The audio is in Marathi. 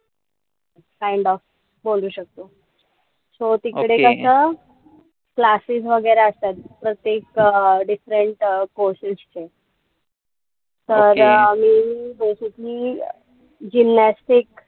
Kind of बोलू शकतो. So तिकडे कसं classes वगैरे असतात. प्रत्येक different courses चे. तर मी basically gymnastic,